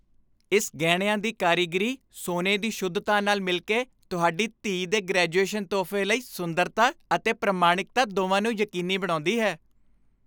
ਇਸ ਗਹਿਣਿਆਂ ਦੀ ਕਾਰੀਗਰੀ, ਸੋਨੇ ਦੀ ਸ਼ੁੱਧਤਾ ਦੇ ਨਾਲ ਮਿਲ ਕੇ, ਤੁਹਾਡੀ ਧੀ ਦੇ ਗ੍ਰੈਜੂਏਸ਼ਨ ਤੋਹਫ਼ੇ ਲਈ ਸੁੰਦਰਤਾ ਅਤੇ ਪ੍ਰਮਾਣਿਕਤਾ ਦੋਵਾਂ ਨੂੰ ਯਕੀਨੀ ਬਣਾਉਂਦੀ ਹੈ।